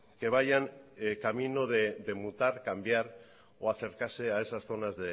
que vayan camino de mutar cambiar o acercarse a esas zonas